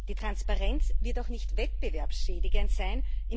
Die Transparenz wird auch nicht wettbewerbsschädigend sein.